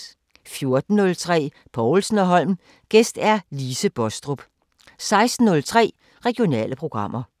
14:03: Povlsen & Holm: Gæst Lise Baastrup 16:03: Regionale programmer